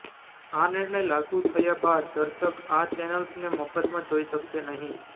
આ નિર્ણય લાગૂ થયા બાદ દર્શક આ ચેનલ્સને મફતમાં જોઇ શકશે નહીં